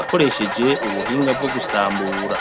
akoresheje ubuhinga bwo gusambura.